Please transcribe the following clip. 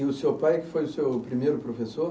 E o seu pai, foi o seu primeiro professor?